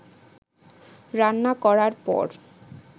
রান্না করার পর